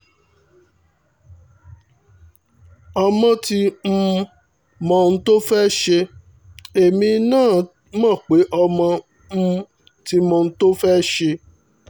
ọmọ ti um mọ ohun tó fẹ́ẹ́ ṣe èmi náà mọ̀ pé ọmọ um ti mọ ohun tó fẹ́ẹ́ ṣe